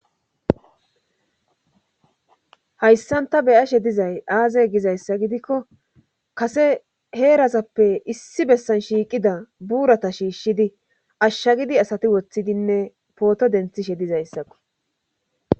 hayssanta beyashe dizay aaze gizayssa gidikko kase heerazappe issi bessan shiiqida buurata shiishshidi ashsha gidi asati woththidinne pooto denthishe dizayssakko